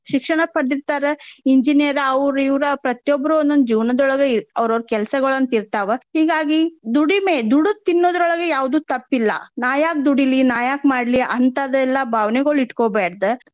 ಶಿಕ್ಷಣ ಪಡದಿರ್ತಾರ engineer ಅವ್ರ ಇವ್ರಾ ಪ್ರತಿಯೊಬ್ರು ಒಂದೊಂದ್ ಜೀವನ್ದೋಳಗ ಅವ್ರ ಅವ್ರ ಕೆಲ್ಸಗೊಳ ಅಂತ ಇರ್ತಾವ. ಹಿಂಗಾಗಿ ದುಡಿಮೆ ದುಡದ್ ತಿನ್ನೋದ್ರೋಳಗ ಯಾವ್ದು ತಪ್ಪಿಲ್ಲಾ. ನಾ ಯಾಕ್ ದುಡಿಲಿ ನಾ ಯಾಕ್ ಮಾಡ್ಲಿ ಅಂತಾದೆಲ್ಲಾ ಭಾವನೆಗೊಳ್ ಇಟ್ಕೊಬ್ಯಾಡ್ದ.